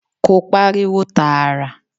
Kò pariwo tààrà.